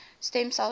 stem cell research